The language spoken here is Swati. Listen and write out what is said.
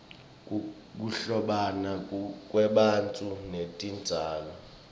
kuhlobana kwebantfu netitjalo